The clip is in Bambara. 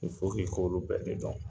i k'olu bɛɛ de dɔn